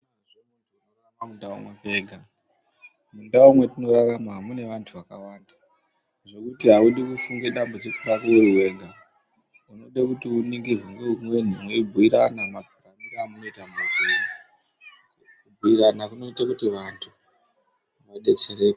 Mundau mwetinorarama mune vantu vakawanda, zvekuti haudi kufunge dzambudziko rako uri wega. Zvinode kuti uningirwe ngeumweni mweibhuyirana. Kubhuyirana kunoite kuti vantu vedetsereke.